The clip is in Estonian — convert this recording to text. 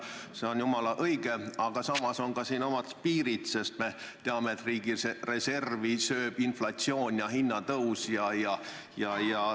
See on jumala õige, aga samas on siin omad piirid, sest me teame, et riigireservi söövad inflatsioon ja hinnatõus.